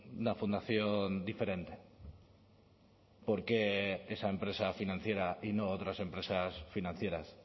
una fundación diferente por qué esa empresa financiera y no otras empresas financieras